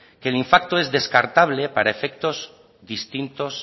que el es descartable para efectos distintos